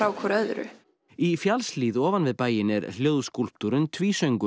hvort öðru í fjallshlíð ofan við bæinn er hljóðskúlptúrinn